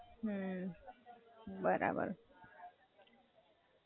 હાં, બરાબર.